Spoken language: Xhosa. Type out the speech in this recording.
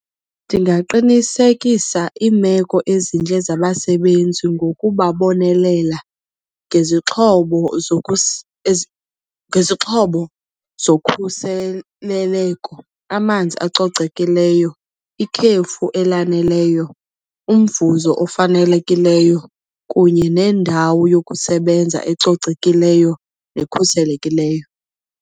Ndingaqinisekisa iimeko ezintle zabasebenzi ngokubabonelela ngezixhobo ngezixhobo zokhuseleko, amanzi acocekileyo, ikhefu elaneleyo, umvuzo ofanelekileyo kunye nendawo yokusebenza ecocekileyo nekhuselekileyo.